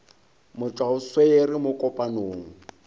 motšwa o swere mo kopanong